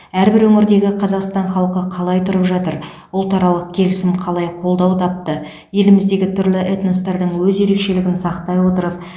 әрбір өңірдегі қазақстан халқы қалай тұрып жатыр ұлтаралық келісім қалай қолдау тапты еліміздегі түрлі этностардың өз ерекшелігін сақтай отырып